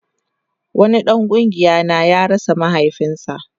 Wani dan kungiya na ya rasa mahaifinsa